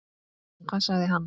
En hvað sagði hann?